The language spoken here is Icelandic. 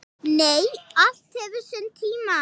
Nei, allt hefur sinn tíma.